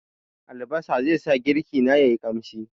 Albasa zai sa girki na ya yi ƙamshi.